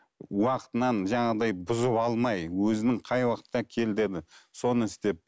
уақытынан жаңағыдай бұзып алмай өзінің қай уақытта кел деді соны істеп